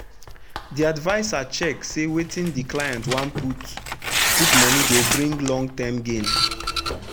the adviser check say wetin the client wan put put money go bring long term gain.